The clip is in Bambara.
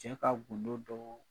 Cɛ ka gundo dɔɔn